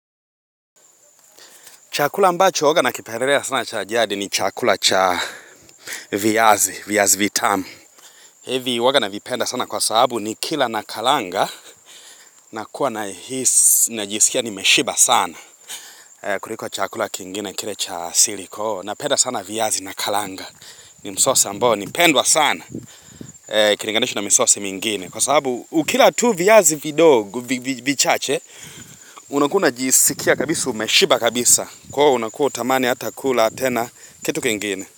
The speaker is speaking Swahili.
Chakula ambacho huwaga na kipendelea sana cha jadi ni chakula cha viazi, viazi vitamu. Hivi huwaga navipenda sana kwa sababu ni kila na kalanga na kuwa nahisi na jisikia nimeshiba sana. Kuliko chakula kingine kile cha asili kwa hiyo na penda sana viazi na kalanga. Ni msosi ambao, ni pendwa sana. Ukilingalisha na misosi mingine. Kwa sababu ukila tu viazi vidogo vichache, unakuwa unajisikia kabisa umeshiba kabisa. Kwa hiyo unakuwa hutamani hata kula tena kitu kingine.